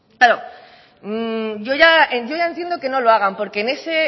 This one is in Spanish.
claro yo ya entiendo que no lo hagan porque en